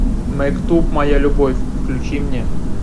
мектуб моя любовь включи мне